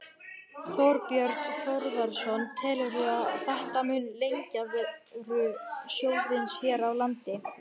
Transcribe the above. Þorbjörn Þórðarson: Telurðu að þetta muni lengja veru sjóðsins hér á landi?